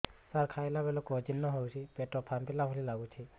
ସାର ଖାଇଲା ବେଳକୁ ଅଜିର୍ଣ ହେଉଛି ପେଟ ଫାମ୍ପିଲା ଭଳି ଲଗୁଛି